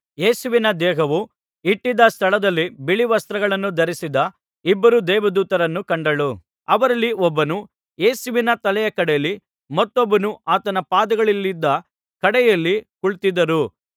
ಯೇಸುವಿನ ದೇಹವು ಇಟ್ಟಿದ್ದ ಸ್ಥಳದಲ್ಲಿ ಬಿಳಿವಸ್ತ್ರಗಳನ್ನು ಧರಿಸಿದ್ದ ಇಬ್ಬರು ದೇವದೂತರನ್ನು ಕಂಡಳು ಅವರಲ್ಲಿ ಒಬ್ಬನು ಯೇಸುವಿನ ತಲೆಯ ಕಡೆಯಲ್ಲಿ ಮತ್ತೊಬ್ಬನು ಆತನು ಪಾದಗಳಿದ್ದ ಕಡೆಯಲ್ಲಿ ಕುಳಿತಿದ್ದರು